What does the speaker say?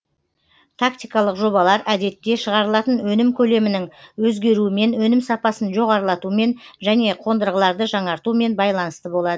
тактикалық жобалар әдетте шығарылатын өнім көлемінің өзгеруімен өнім сапасын жоғарлатуымен және қонырғыларды жаңартуымен байланысты болады